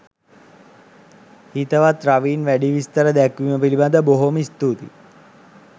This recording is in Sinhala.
හිතවත් රවීන් වැඩි විස්තර දැක්විම පිලිබදව බොහෝම ස්තුතියි.